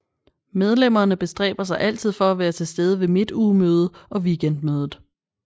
Medlemmerne bestræber sig altid for at være til stede ved Midtugemøde og Weekendmødet